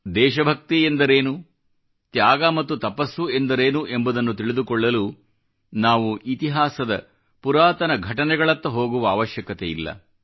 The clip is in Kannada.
ದೇಶ ಭಕ್ತಿ ಎಂದರೇನು ತ್ಯಾಗ ಮತ್ತು ತಪಸ್ಸು ಎಂದರೇನು ಎಂಬುದು ತಿಳಿದುಕೊಳ್ಳಲು ನಾವು ಇತಿಹಾಸದ ಪುರಾತನ ಘಟನೆಗಳತ್ತ ಹೋಗುವ ಅವಶ್ಯಕತೆಯಿಲ್ಲ